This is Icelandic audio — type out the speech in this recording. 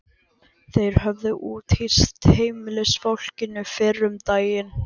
Þeir höfðu úthýst heimilisfólkinu fyrr um daginn.